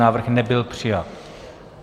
Návrh nebyl přijat.